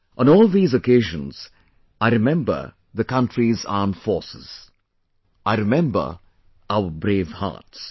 On all these occasions, I remember the country's Armed Forces...I remember our brave hearts